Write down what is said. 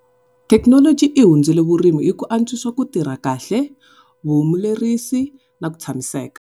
Technology i hundzule vurimi hi ku antswisa ku tirha kahle, vuhumelerisi na ku tshamiseka.